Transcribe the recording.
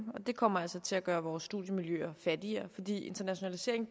det kommer altså til at gøre vores studiemiljøer fattigere fordi internationalisering